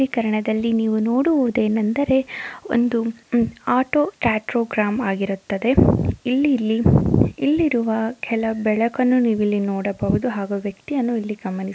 ಚಿತ್ರೀಕರಣದಲ್ಲಿ ನೀವು ನೋಡುವುದೇನೆಂದರೆ ಒಂದು ಆಟೋ ಟ್ರಾ ಸ್ಟೀರಿಯೋಗ್ರಾಮ್ ಆಗಿರುತ್ತದೆ ಇಲ್ಲಿ ಇಲ್ಲಿ ಇಲ್ಲಿರುವ ಕೆಲವು ಬೆಳಕನ್ನು ನೀವಿಲ್ಲಿ ನೋಡಬಹುದು ಹಾಗು ವ್ಯಕ್ತಿಯನ್ನು ಇಲ್ಲಿ ಗಮನಿಸ್ --